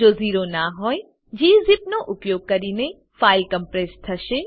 જો ઝીરો ના હોયgzipનો ઉપયોગ કરીને ફાઈલ કોમ્પ્રેસ્ડ થશે